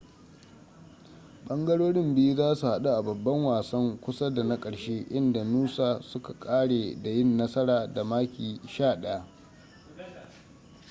ɓangarorin biyu za su haɗu a babban wasan kusa da na ƙarshe inda noosa suka ƙare da yin nasara da maki 11